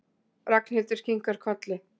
Ragnhildur kinkar kolli.